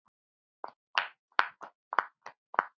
Guð blessi þig, elsku amma.